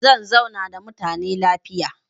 Zan zauna da mutane lafiya.